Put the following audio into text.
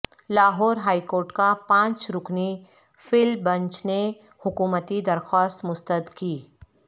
Lahore high court کا پانچ رکنی فل بنچ نے حکومتی درخوست مسترد کی